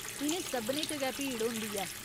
इ'नें सभनें च गै भीड़ होंदी ऐ।